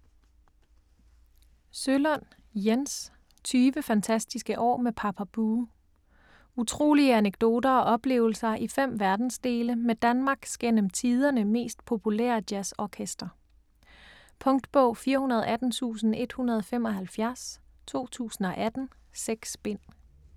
Sølund, Jens: 20 fantastiske år med Papa Bue Utrolige anekdoter og oplevelser i fem verdensdele med Danmarks gennem tiderne mest populære jazzorkester. Punktbog 418175 2018. 6 bind.